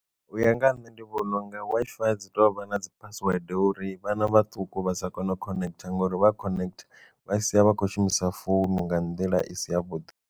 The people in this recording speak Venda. U ya nga ha nṋe ndi vhona unga Wi-Fi dzi tovha na dzi phasiwede uri vhana vhaṱuku vha sa kone u connect ngori vha connect vha sia vha khou shumisa founu nga nḓila i si ya vhuḓi.